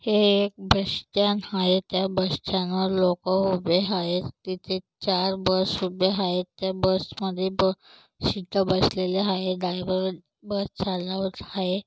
हे एक बसस्टँड आहे त्या बसस्टँड वर लोक उभे आहेत तिथे चार बस उभे आहेत त्या बस मध्ये ब शीट बसलेले आहेत डाव्याबाजूला बस चालनावरती आहे.